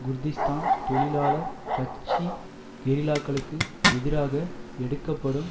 Kurdistan தொழிலாளர் கட்சி கெரில்லாக்களுக்கு எதிராக எடுக்கப்படும்